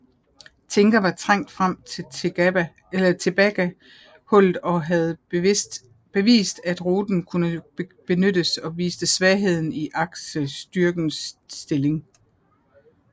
Tinker var trængt frem til Tebaga hullet og havde bevist at ruten kunne benyttes og viste svagheden i aksestyrkernes stilling